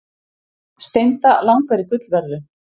Steinda langar í gullverðlaun